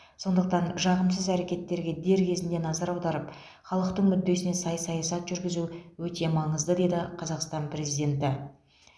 сондықтан жағымсыз әрекеттерге дер кезінде назар аударып халықтың мүддесіне сай саясат жүргізу өте маңызды деді қазақстан президенті